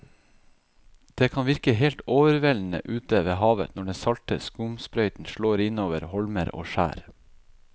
Det kan virke helt overveldende ute ved havet når den salte skumsprøyten slår innover holmer og skjær.